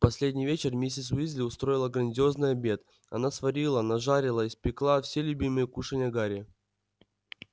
в последний вечер миссис уизли устроила грандиозный обед она сварила нажарила испекла все любимые кушанья гарри